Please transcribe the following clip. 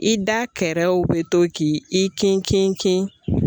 I da kɛrɛw bɛ to k'i kin kin kin.